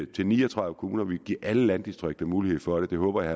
til ni og tredive kommuner vi vil give alle landdistrikterne mulighed for det det håber jeg